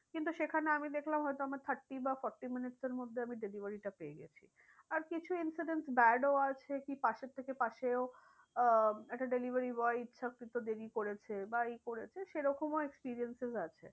কিন্তু সেখানে আমি দেখলাম হয় তো আমার thirty বা forty এর মধ্যে আমি delivery টা পেয়ে গেছি। আর কিছু incident bad ও আছে কি পাশের থেকে পাশেও আহ একটা delivery boy ইচ্ছাকৃত দেরি করেছে বা এই করেছে সেই রকমও experiences আছে।